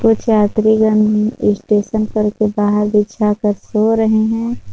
कुछ यात्रीगण स्टेशन पर के बाहर बिछा कर सो रहे है।